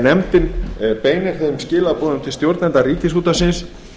nefndin beinir því þeim skilaboðum til stjórnenda ríkisútvarpsins